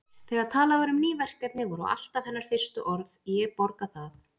Þegar talað var um ný verkefni voru alltaf hennar fyrstu orð: Ég borga það